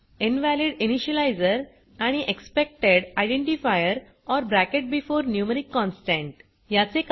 invalid initializer आणि expected identifier or bracket before numeric constant